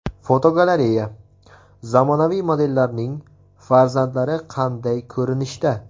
Fotogalereya: Zamonaviy modellarning farzandlari qanday ko‘rinishda.